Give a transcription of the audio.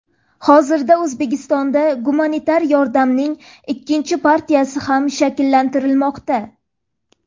Hozirda O‘zbekistonda gumanitar yordamning ikkinchi partiyasi ham shakllantirilmoqda.